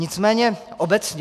Nicméně obecně.